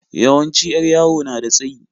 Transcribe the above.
Yawanci 'yar yawo na da tsayi.